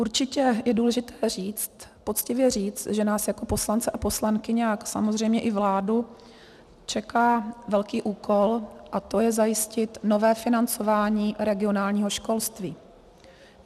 Určitě je důležité říct, poctivě říct, že nás jako poslance a poslankyně a samozřejmě i vládu čeká velký úkol, a to je zajistit nové financování regionálního školství.